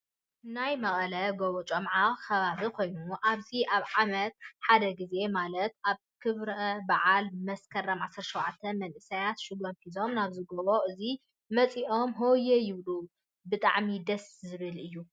ናይ መቀለ ጎቦ ጮምዓ ከባቢ ኮይኑ ኣብዚ ኣብ ዓመት ሓደ ግዜ ማለት ኣብ ክብረ በዓል መስከረም 17 መናእሰይ ሽጎም ሒዞም ናብዚ ጎቦ እዙይ ወፂኦም ሆየ ይብሉ ብጣዕሚ ድማ ደስ ይብል።